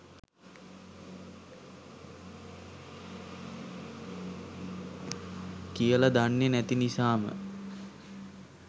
කියලා දන්නේ නැති නිසාම